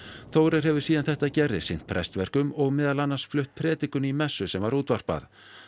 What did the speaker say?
Þórir hefur síðan þetta gerðist sinnt prestverkum og meðal annars flutt predikun í messu sem var útvarpað